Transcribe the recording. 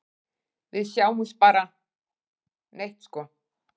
Við sjáum bara neitt sko.